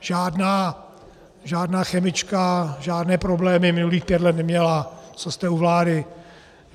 Žádná chemička žádné problémy minulých pět let neměla, co jste u vlády.